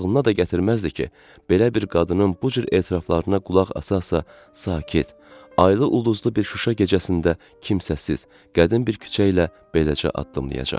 Ağlına da gətirməzdi ki, belə bir qadının bu cür etiraflarına qulaq asa-asa sakit, aylı-ulduzlu bir Şuşa gecəsində kimsəsiz, qədim bir küçə ilə beləcə addımlayacaq.